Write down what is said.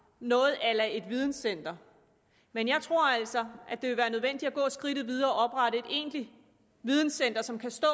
noget a la et videncenter men jeg tror altså at det vil være nødvendigt at gå skridtet videre og oprette et egentligt videncenter som kan stå